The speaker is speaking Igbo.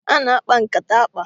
Ana akpa nkata akpa